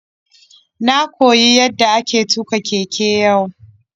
Na koyi yadda ake tuka keke yau.